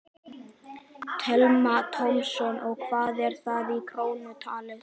Telma Tómasson: Og hvað er það í krónum talið?